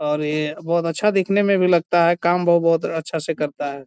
और ये बहुत अच्छा दिखने में भी लगता है काम बो बहुत अच्छे से करता है।